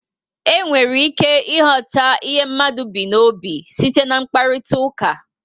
E nwere ike ighọta ihe mmadụ bu n'obi site na mkparitauka